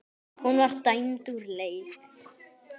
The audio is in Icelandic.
Hún var dæmd úr leik.